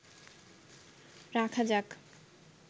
রাখা যাক